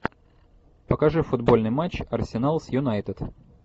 покажи футбольный матч арсенал с юнайтед